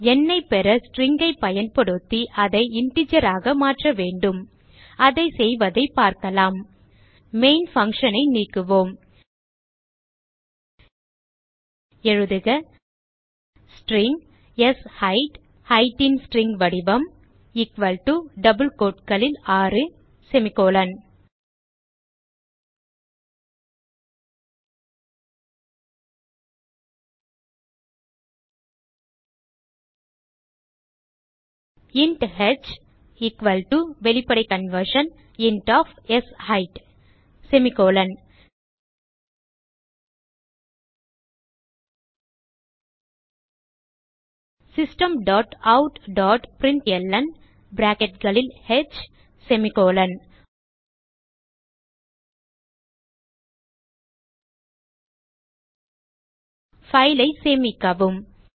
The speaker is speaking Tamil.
எண்ணை பெற string ஐ பயன்படுத்தி அதை integer ஆக மாற்ற வேண்டும் அதை செய்வதைப் பார்க்கலாம் மெயின் function ஐ நீக்குவோம் எழுதுக ஸ்ட்ரிங் ஷெய்த் Height ன் ஸ்ட்ரிங் வடிவம் எக்குவல் டோ டபிள் quoteகளில் 6 இன்ட் ஹ் எக்குவல் டோ வெளிப்படை கன்வர்ஷன் இன்ட் ஒஃப் ஷெய்த் system dot out dot println file ஐ சேமிக்கவும்